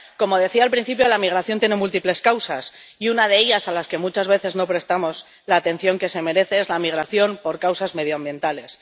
Como decía al principio, la migración tiene múltiples causas, y una de ellas, a las que muchas veces no prestamos la atención que se merece, es la migración por causas medioambientales.